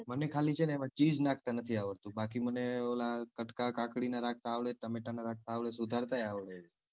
ખાલી છે ને એમાં ખાલી cheese નાખતા નથી આવડતું બાકી મને ઓલા કટકા કાકડી ના રાખતા આવડે ટામેટા ના રાખતા આવડે સુધારતા એ આવડે છે.